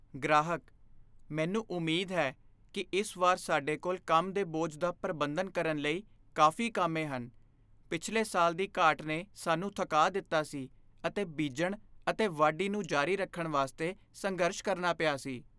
ਗ੍ਰਾਹਕ "ਮੈਨੂੰ ਉਮੀਦ ਹੈ ਕੀ ਇਸ ਵਾਰ ਸਾਡੇ ਕੋਲ ਕੰਮ ਦੇ ਬੋਝ ਦਾ ਪ੍ਰਬੰਧਨ ਕਰਨ ਲਈ ਕਾਫ਼ੀ ਕਾਮੇ ਹਨ ਪਿਛਲੇ ਸਾਲ ਦੀ ਘਾਟ ਨੇ ਸਾਨੂੰ ਥਕਾ ਦਿੱਤਾ ਸੀ ਅਤੇ ਬੀਜਣ ਅਤੇ ਵਾਢੀ ਨੂੰ ਜਾਰੀ ਰੱਖਣ ਵਾਸਤੇ ਸੰਘਰਸ਼ ਕਰਨਾ ਪਿਆ ਸੀ"